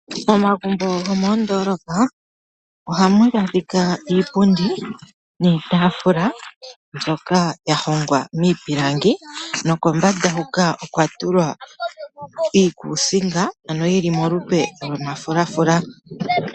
Momagumbo gomoondoolopa oh ohamu adhika iipundi niitaafula mbyoka yahongwa miipilangi. Nokombanda huka okwa tulwa iikuusinga ano yili molupe lwomafulafula.